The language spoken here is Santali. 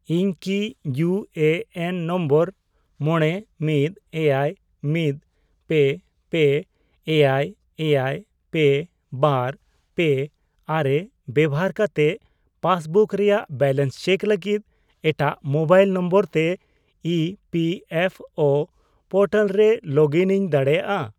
ᱤᱧ ᱠᱤ ᱤᱭᱩ ᱮ ᱮᱱ ᱱᱚᱢᱵᱚᱨ ᱢᱚᱬᱮ, ᱢᱤᱫ, ᱮᱭᱟᱭ, ᱢᱤᱫ, ᱯᱮ, ᱯᱮ, ᱮᱭᱟᱭ, ᱮᱭᱟᱭ, ᱯᱮ, ᱵᱟᱨ, ᱯᱮ, ᱟᱨᱮ ᱵᱮᱣᱦᱟᱨ ᱠᱟᱛᱮᱫ ᱯᱟᱥᱵᱩᱠ ᱨᱮᱭᱟᱜ ᱵᱮᱞᱮᱱᱥ ᱪᱮᱠ ᱞᱟᱹᱜᱤᱫ ᱮᱴᱟᱜ ᱢᱳᱵᱟᱭᱤᱞ ᱱᱚᱢᱵᱚᱨ ᱛᱮ E P F O portal ᱨᱮ ᱞᱚᱜᱽᱤᱱᱤᱧ ᱫᱟᱲᱮᱭᱟᱜᱼᱟ ?